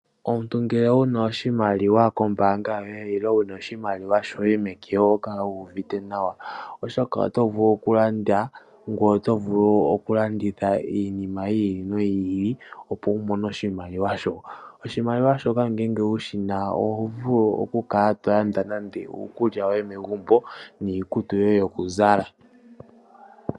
Omuntu ngele wuna oshimaliwa koombanga yoye nenge wuna oshimaliwa meke ohokala wuuvite nawa oshoka oto vulu okulanda nokulanditha iinima yi ili noyi ili opo wumone oshimaliwa shoka. Oshimaliwa shoka ngele wushina oho vulu oku kala tolanda nande uukulya woye megumbo niikutu yoye yokuzala